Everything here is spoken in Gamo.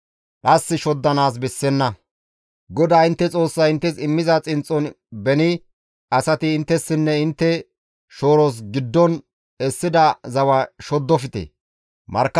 GODAA intte Xoossay inttes immiza xinxxon beni asati inttessinne intte shooros giddon essida zawa shoddofte.